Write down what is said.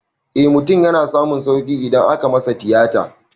Eh mutum yana samun sauƙi idan aka masa tiyata